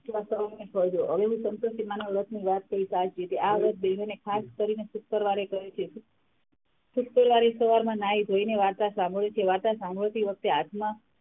હવે હું સંતોષીમાં ના વ્રત ની વાત કહીશ આજ રીતે શુક્રવારે કરે છે શુક્રવારે સવારમાં નાહી -ધોઈને વાર્તા સાંભળે છે વાર્તા સાંભળતી વખતે હાથમાં,